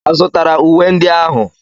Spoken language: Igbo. A zụtara uwe ndị ahụ?